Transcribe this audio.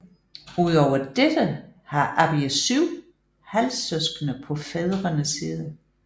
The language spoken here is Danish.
Ud over dette har Abiy syv halvsøskende på fædrende side